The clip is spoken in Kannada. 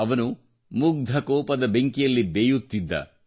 ಅವನು ಮುಗ್ಧ ಕೋಪದ ಬೆಂಕಿಯಲ್ಲಿ ಬೇಯುತ್ತಿದ್ದ